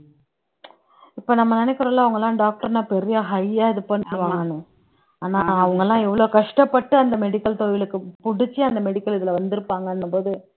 இப்ப நம்ம நினைக்கிறோம்ல அவங்க எல்லாம் doctor ன்னா பெரிய high ஆ இது பண்ணிடுவாங்கன்னு ஆனா அவங்க எல்லாம் எவ்வளவு கஷ்டப்பட்டு அந்த medical தொழிலுக்கு பிடிச்சு அந்த medical இதுல வந்திருப்பாங்கன்னும்போது